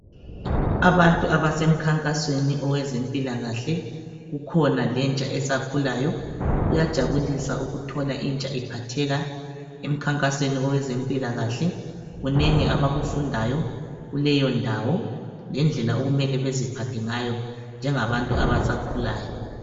Abantu abasemkhankasweni wezempilakahle, kukhona lentsha esakhulayo. Kuyajabulusa ukuthola intsha iphatheka emkhankasweni wezempilakahle kunengi abakufundayo lendlela okumele baziphathe ngayo njengabantu abasakhulayo.